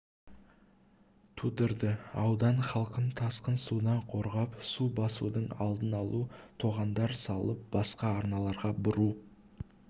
тудырды аудан халқын тасқын судан қорғап су басудың алдын алу тоғандар салып басқа арналарға бұру